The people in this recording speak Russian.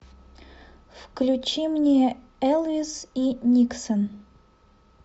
включи мне элвис и никсон